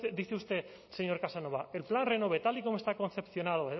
dice usted señor casanova el plan renove tal y como está confeccionado